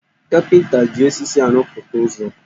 Kapịnta ji osisi arụpụta ụzọ́